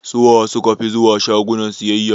Suwa suka fi zuwa shaguna sayayya?